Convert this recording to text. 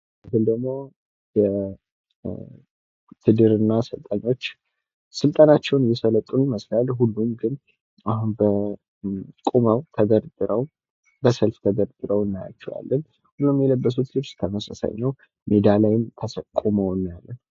ይህ ደሞ የዉትድርና ሰልጣኞች ስልጠናቸዉን እየሰለጠኑ ይመስላል ፤ አሁን ግን ሁሉም ቁመዉ፣ ተደርድረዉ በሰልፍ ተደርድረዉ እናያቸዋለን ፤ ሁሉም የለበሱት ልብስ ተመሳሳይ ነው ሜዳ ላይም ቁመዉ እናያለን።